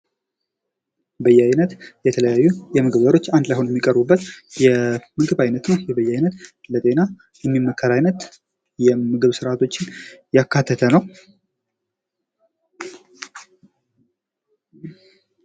በያይነት የተለያዩ የምግብ ዘሮች አንድ ላይ ሁነው የሚቀርቡበት የምግብ አይነት ነው ። ይህ በያይነት ለጤና የሚመከር ዓይነት የምግብ ስርዓቶችን ያካተተ ነው ።